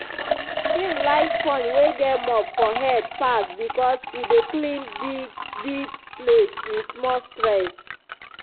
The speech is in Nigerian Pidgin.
him like sponge wey get mop for head pass because e dey clean big-big place with small stress.